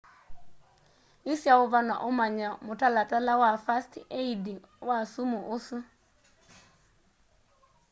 isya uvano umanye mutalatala wa first aidi wa sumu ũsu